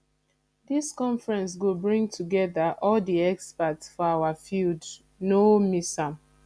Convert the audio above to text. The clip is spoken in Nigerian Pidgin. dis conference go bring togeda all di experts for our field no miss am